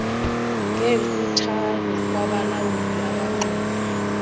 ngenkuthalo kwabalawuli abanxumi